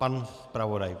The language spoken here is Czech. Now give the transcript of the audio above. Pan zpravodaj.